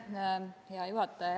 Hea juhataja!